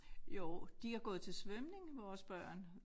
Jo de har gået til svømning vores børn